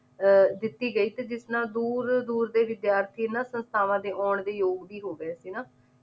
ਅਹ ਦਿੱਤੀ ਗਈ ਜਿਸ ਨਾਲ ਦੂਰ ਦੂਰ ਦੇ ਵਿਦਿਆਰਥੀ ਇਹਨਾਂ ਸੰਸਥਾਵਾਂ ਦੇ ਆਉਣ ਦੇ ਯੋਗ ਵੀ ਹੋਗੇ ਸੀ ਨਾ